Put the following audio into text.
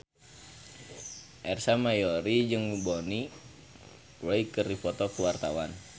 Ersa Mayori jeung Bonnie Wright keur dipoto ku wartawan